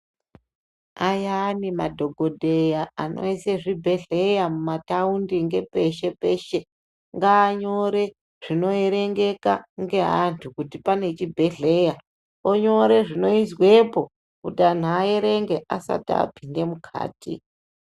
Ayani madhokodheya anoise zvibhedhleya mumathaundi peshe peshe ngaanyore zvinoerengeka ngaantu kuti pane chibhedhlera, onyore zvinoizwepo kuti antu aerenge asati apinda mukati.